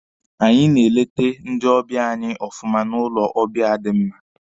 Anyị na-elete ndị ọbịa anyị ọfụma n'ụlọ ọbịa di mma.